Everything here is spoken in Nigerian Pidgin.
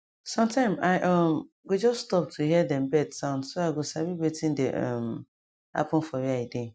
sometime i um go just stop to hear dem bird sound so i go sabi wetin dey um happen for where i dey